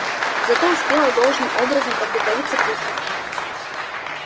зато успела должным образом подготовиться к выставке